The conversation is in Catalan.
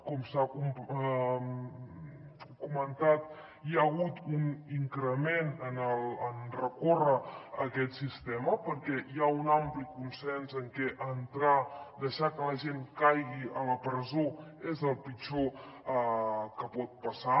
com s’ha comentat hi ha hagut un increment en recórrer a aquest sistema perquè hi ha un ampli consens en que deixar que la gent caigui a la presó és el pitjor que pot passar